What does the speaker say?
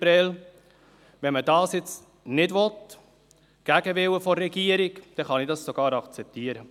Wenn man das nicht will, gegen den Willen der Regierung, kann ich das sogar akzeptieren.